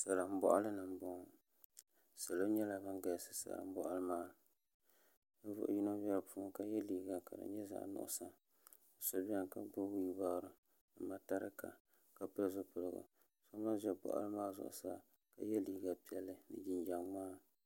Salin boɣali ni n boŋo salo nyɛla bin galisi salin boɣali maa ni ninvuɣu ʒɛ kpaŋa ka yɛ liiga ka di nyɛ zaɣ nuɣso so biɛni la gbubi whiil baaro ni mataraka ka pili zipiligu so gba ʒɛ boɣali maa zuɣusaa ka yɛ liiga piɛlli ni jinjɛm ŋmaa